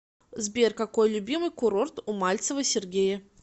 сбер какой любимый курорт у мальцева сергея